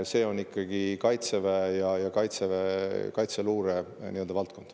See on ikkagi Kaitseväe ja Kaitseväe luure valdkond.